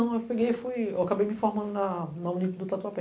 Eu peguei e fui... Eu acabei me formando na Unico do Tatuapé.